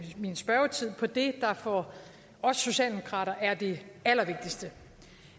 min spørgetid på det der for socialdemokraterne er det allervigtigste